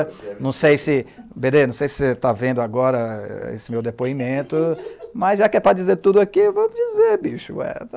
Não sei se... bê dê, não sei se você está vendo agora esse meu depoimento, mas já que é para dizer tudo aqui, vamos dizer, bicho.